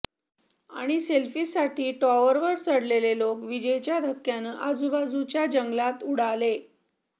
आणि सेल्फीसाठी टॉवरवर चढलेले लोक वीजेच्या धक्क्यानं आजबाजूच्या जंगलात उडाले